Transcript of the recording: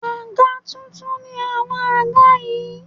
Àga tuntun ni àwọn àga yí.